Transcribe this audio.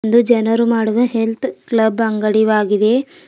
ಒಂದು ಜನರು ಮಾಡುವ ಹೆಲ್ತ್ ಕ್ಲಬ್ ಅಂಗಡಿವಾಗಿದೆ.